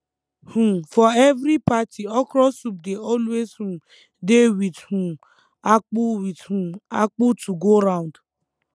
um for every party okro soup dey always um dey with um akpo with um akpo to go round